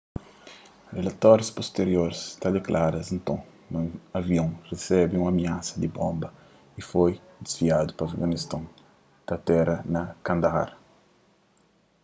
rilatórius pustirior ta diklara nton ma avion resebe un amiasa di bonba y foi disviadu pa afeganiston ta atera na kandahar